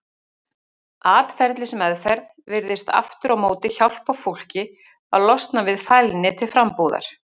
Atferlismeðferð virðist aftur á móti hjálpa fólki að losna við fælni til frambúðar.